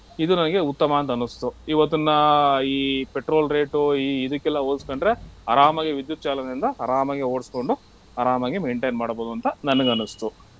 ಇದು ನನಿಗೆ ಉತ್ತಮ ಅಂತನ್ನುಸ್ತು. ಇವತ್ತಿನ ಈ petrol rate ಈ ಇದಕ್ಕೆಲ್ಲ ಹೋಲ್ಸ್ಕೊಂಡ್ರೆ ಆರಾಮಾಗಿ ವಿದ್ಯುತ್ ಚಾಲನೆಯಿಂದ ಆರಾಮಾಗೆ ಓಡ್ಸ್ಕೊಂಡು ಆರಾಮಾಗೆ maintain ಮಾಡ್ಬಹುದಂತ ನನಗ್ ಅನ್ಸ್ತು.